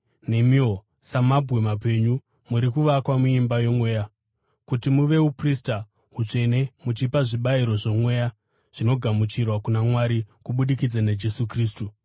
nemiwo, samabwe mapenyu, muri kuvakwa muimba yomweya kuti muve uprista hutsvene muchipa zvibayiro zvomweya zvinogamuchirwa kuna Mwari kubudikidza naJesu Kristu.